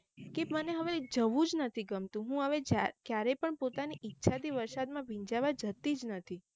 કે મને હવે જવું જ નથી ગમતું હું હવે ક્યારેય પણ પોતાની ઇરછા થી વરસાદ માં ભીંજાવા જતી જ નથી